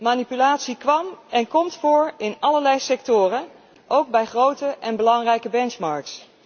Manipulatie kwam en komt voor in allerlei sectoren, ook bij grote en belangrijke benchmarks.